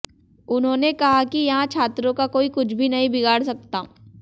उन्होंने कहा कि यहां छात्रों का कोई कूछ भी नहीं बिगाड़ सकता